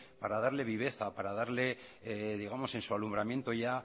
para darle viveza para darle digamos en su alumbramiento ya